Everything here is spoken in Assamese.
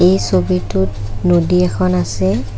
এই ছবিটোত নদী এখন আছে |